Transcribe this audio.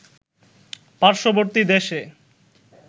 পার্শ্ববর্তী দেশে